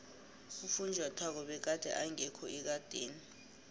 ufunjathwako begade engekho ekadeni